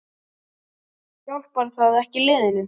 Hjálpar það ekki liðinu?